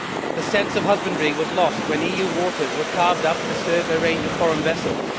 The sense of husbandry was lost when EU waters were carved up to serve a range of foreign vessels.